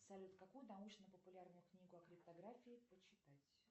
салют какую научно популярную книгу о криптографии почитать